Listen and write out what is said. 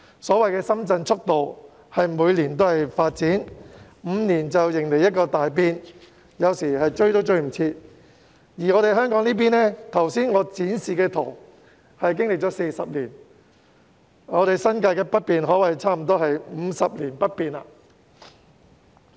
所謂的"深圳速度"，是每年皆有發展，每5年迎來一個大變，要追也追不上；反觀香港這邊，從我剛才展示的圖片可見，歷經40年，新界北面可說是幾乎 "50 年不變"。